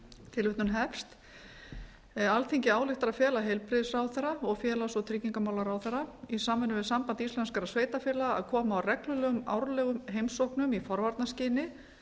tilvitnun hefst alþingi ályktar að fela heilbrigðisráðherra og félags og tryggingamálaráðherra í samvinnu við samband íslenskra sveitarfélaga að koma á reglulegum árlegum heimsóknum í forvarnaskyni